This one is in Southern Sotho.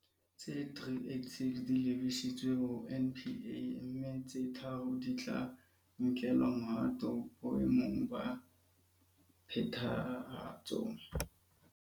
Tse 386 di lebisitswe ho NPA, mme tse tharo di tla nkelwa mohato boe mong ba phethahatso.